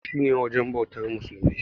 Masallaci shi ne wujen bautar musulmai.